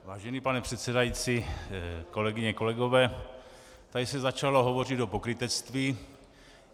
Vážený pane předsedající, kolegyně, kolegové, tady se začalo hovořit o pokrytectví.